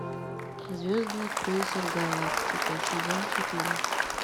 звездный крейсер галактика сезон четыре